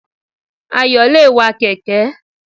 Ayò le è wa kèké